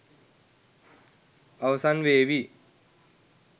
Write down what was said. අවසන් වේවි.